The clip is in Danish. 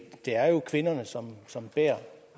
er jo kvinderne som som bærer